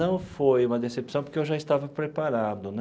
Não foi uma decepção, porque eu já estava preparado né.